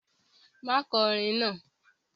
Má kọ orin náà!